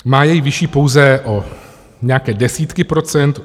Má jej vyšší pouze o nějaké desítky procent.